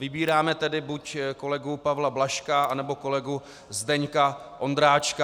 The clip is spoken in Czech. Vybíráme tedy buď kolegu Pavla Blažka, anebo kolegu Zdeňka Ondráčka.